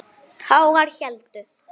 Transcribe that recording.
Tágar héldu.